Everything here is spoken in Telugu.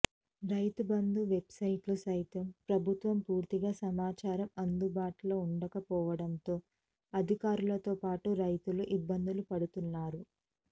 రైతుబంధు వెబ్సైట్లో సైతం ప్రభుత్వ పూర్తి సమాచారం అందుబాటులో ఉండక పోవడంతో అధికారులతో పాటు రైతులు ఇబ్బందులు పడుతున్నారు